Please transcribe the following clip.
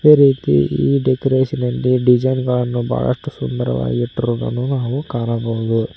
ಅದೇ ರೀತೀ ಈ ಡೆಕೋರೇಷನ್ ನಲ್ಲಿ ಡಿಸೈನ್ ಗಳನ್ನು ಬಹಳಷ್ಟು ಸುಂದರವಾಗಿ ಇಟ್ಟಿರುವುದನ್ನು ನಾವು ಕಾಣಬಹುದು.